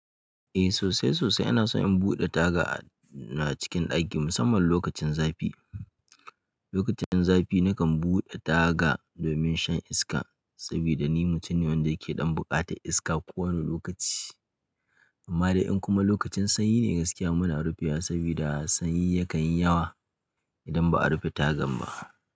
Eh sosai sosai ina son in buɗe taga na a cikin ɗaki musamman lokacin zafi. Lokacin zafi nakan buɗe taga domin shan iska saboda ni mutum ne wanda yake ɗan bukata iska ko wane lokaci. Amma dai in kuma lokacin sanyi ne gaskiya muna rufiya saboda sanyi yakan yi yawa idan ba a rufe tagan ba.